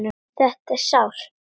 Þetta er sárt.